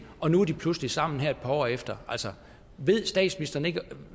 og nu er de pludselig sammen her et par år efter altså ved statsministeren ikke